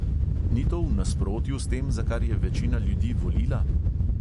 Ni to v nasprotju s tem, za kar je večina ljudi volila?